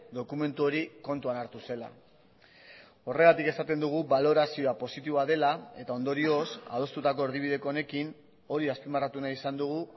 dokumentu hori kontuan hartu zela horregatik esaten dugu balorazioa positiboa dela eta ondorioz adostutako erdibideko honekin hori azpimarratu nahi izan dugu